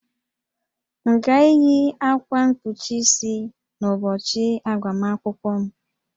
M ga-eyi akwa mkpuchi isi n'ụbọchị agbamakwụkwọ m?